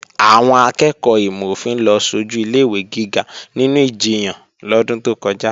Àwọn akẹ́ẹ̀kọ́ ìmò-òfin ló sojù ilé-ìwé gíga nínú ìjiyàn lọ́dún tó kọjá